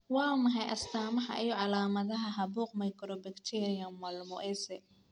Waa maxay astamaha iyo calaamadaha caabuqa mycobacterium malmoense?